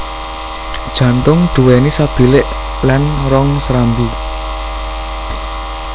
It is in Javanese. Jantung duwéni sabilik lan rong serambi